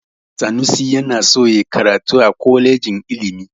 Sanusi yana so ya karatu a kwalejin ilimi.